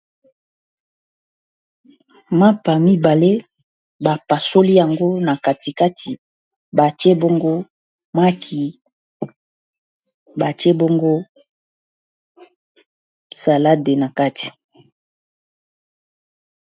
Mapa mibale, bapasoli yango na katikati. batie bongo maki, batie bongo salade na kati.